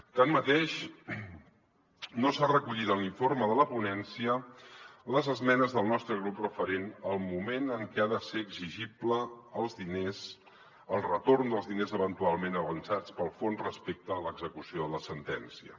tanmateix no s’han recollit en l’informe de la ponència les esmenes del nostre grup referents al moment en què ha de ser exigible el retorn dels diners eventualment avançats pel fons respecte a l’execució de la sentència